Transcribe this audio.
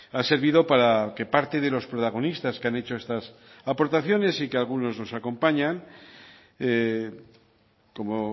ha servido para que parte de los protagonistas que han hecho estas aportaciones y que algunos nos acompañan como